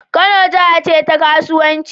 Kano jaha ce ta kasuwanci